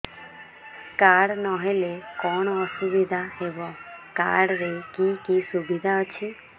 card ନହେଲେ କଣ ଅସୁବିଧା ହେବ କାର୍ଡ ରେ କି କି ସୁବିଧା ଅଛି